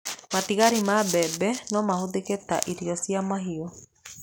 Matigari ma mbembe no mahũthĩke ta irio cia mahiũ.